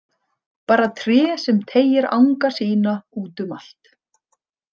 Bara tré sem teygir anga sína út um allt.